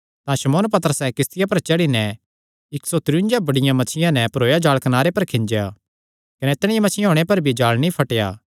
तां शमौन पतरसैं किस्तिया पर चढ़ी नैं इक्क सौ त्रियुन्जा बड्डियां मच्छियां नैं भरोया जाल़ कनारे पर खिंज्या कने इतणी मच्छियां होणे पर भी जाल़ नीं फटेया